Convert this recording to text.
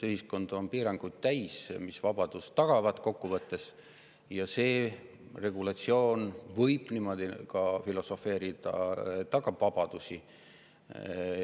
Ühiskond on piiranguid täis, mis kokkuvõttes tagavad vabaduse, ja see regulatsioon – niimoodi võib ju filosofeerida – tagab ka vabadusi.